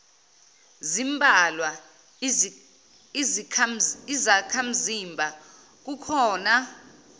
zimbalwa izakhamzimba kukona